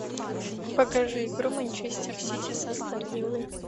покажи игру манчестер сити со астон виллой